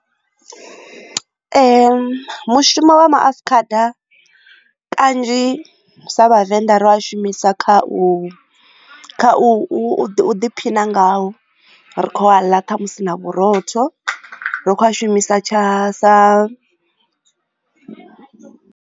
Mushumo wa maafukhada kanzhi sa vhavenḓa ri a shumisa kha u u ḓiphina ngawo ri kho a ḽa kha musi na vhurotho ri kho a shumisa tsha sa.